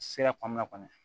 Sira kɔnɔna kɔnɔ